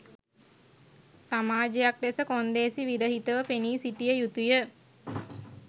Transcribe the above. සමාජයක් ලෙස කොන්දේසි විරහිතව පෙනී සිටිය යුතුය